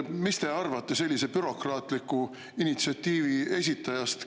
Mis te arvate sellise bürokraatliku initsiatiivi esitajast?